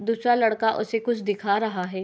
दूसरा लड़का उसे कुछ दिखा रहा है।